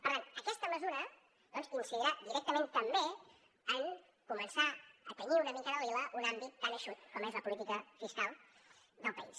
per tant aquesta mesura doncs incidirà directament també en començar a tenyir una mica de lila un àmbit tan eixut com és la política fiscal del país